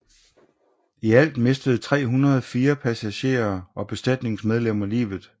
I alt mistede 304 passengerer og besætningsmedlemmer livet